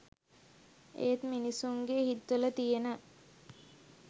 ඒත් මිනිසුන්ගෙ හිත්වල තියෙන